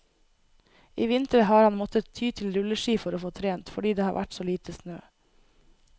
I vinter har han måttet ty til rulleski for å få trent, fordi det har vært så lite snø.